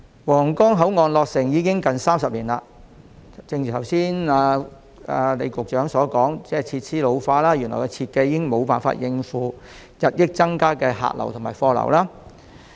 皇崗口岸落成已近30年，正如李局長剛才所說，口岸設施現已老化，原來的設計亦已無法應付日益增加的客流和貨流。